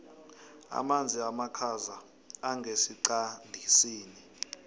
amanzi amakhaza angesiqandisini